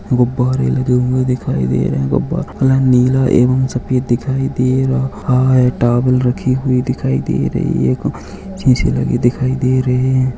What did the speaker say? गुब्बारे लगे हुए दिखाई दे रहे है गुब्बारे नीला एवं सफ़ेद दिखाई दे रहा हैं टॉवल रखी हुई दिखाई दे रही हैं शीशे लगे दिखाई दे रहे हैं।